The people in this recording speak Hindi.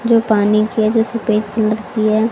जो पानी किया जो सफेद कलर की है।